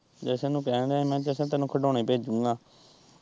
ਜਸ਼ਨ ਨੂੰ ਕਹਿਣ ਦਿਆਂ ਹੀ ਮੈਂ ਕਿਹਾ ਜਸ਼ਨ ਤੈਨੂੰ ਖਿਡੌਣੇ ਭੇਜੂਗਾ।